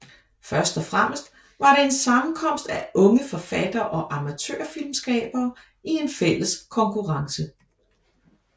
Først og fremmest var det en sammenkomst af unge forfattere og amatørfilmskabere i en fælles konkurrence